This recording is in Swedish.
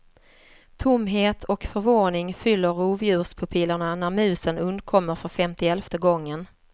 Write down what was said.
Tomhet och förvåning fyller rovdjurspupillerna när musen undkommer för femtielfte gången.